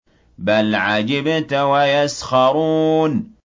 بَلْ عَجِبْتَ وَيَسْخَرُونَ